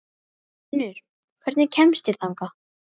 Herfinnur, hvernig kemst ég þangað?